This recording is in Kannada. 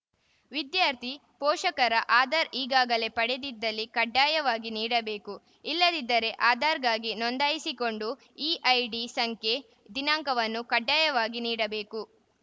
ವಿದ್ಯಾರ್ಥಿ ಪೋಷಕರ ಆಧಾರ್‌ ಈಗಾಗಲೇ ಪಡೆದಿದ್ದಲ್ಲಿ ಕಡ್ಡಾಯವಾಗಿ ನೀಡಬೇಕು ಇಲ್ಲದಿದ್ದಲ್ಲಿ ಆಧಾರ್‌ಗಾಗಿ ನೋಂದಾಯಿಸಿಕೊಂಡು ಇಐಡಿ ಸಂಖ್ಯೆ ದಿನಾಂಕವನ್ನು ಕಡ್ಡಾಯವಾಗಿ ನೀಡಬೇಕು